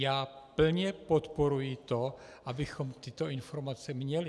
Já plně podporuji to, abychom tyto informace měli.